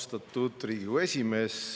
Austatud Riigikogu esimees!